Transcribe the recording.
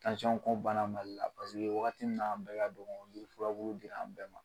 Tansɔnko banna mali la paseke wagati min na a kun be ka don yan yiri furaburu dira an bɛɛ ma